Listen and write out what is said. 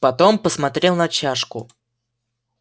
потом посмотрел на чашку